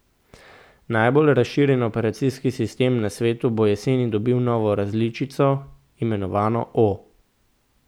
Najbolj razširjen operacijski sistem na svetu bo jeseni dobil novo različico, imenovano o.